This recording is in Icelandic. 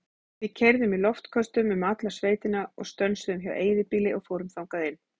Við keyrðum í loftköstum um alla sveitina og stönsuðum hjá eyðibýli og fórum þangað inn.